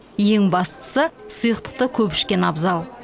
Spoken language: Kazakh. ең бастысы сұйықтықты көп ішкен абзал